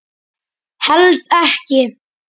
Held ekki.